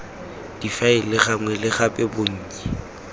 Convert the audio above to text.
difaele gangwe le gape bonnye